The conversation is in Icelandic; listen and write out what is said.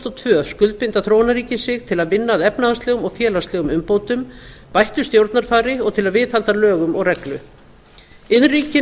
og tvö skuldbinda þróunarríkin sig til að vinna að efnahagslegum og félagslegum umbótum bættu stjórnarfari og til að viðhalda lögum og reglu iðnríkin